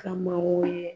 Ka mɔgɔw ye